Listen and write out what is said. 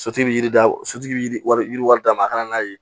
Sotigi bɛ yiri da sotigi wari d'a ma a kana n'a ye